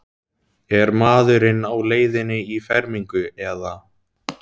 Er maðurinn á leiðinni í fermingu eða?